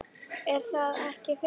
Er það ekki fyndið?